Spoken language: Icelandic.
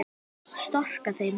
Storka þeim.